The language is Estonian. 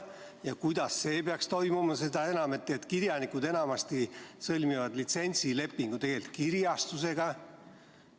Ja kuidas see peaks toimuma, kuivõrd kirjanikud enamasti sõlmivad litsentsilepingu kirjastusega?